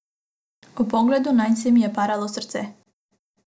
Ob pogledu nanj se mi je paralo srce.